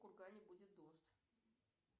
в кургане будет дождь